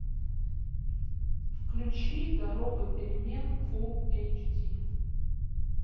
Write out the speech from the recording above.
включи дорога перемен фул эйч ди